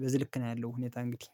በዚህ ልክ ነው ያለ። ሁኔታ እንግዲህ